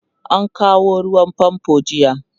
an kawo ruwan fanfo jiya